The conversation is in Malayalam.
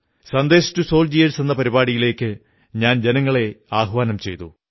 സന്ദേശ് ടു സോൾജിയേഴ്സ് പരിപാടിയിലേക്ക് ഞാൻ ജനങ്ങളെ ആഹ്വാനം ചെയ്തു